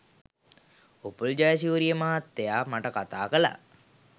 උපුල් ජයසූරිය මහත්තයා මට කතා කළා.